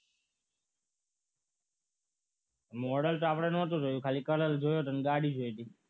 model તો આપણે નથી જોયું ખાલી કલર જોઈએ તને ગાડી જોઈતી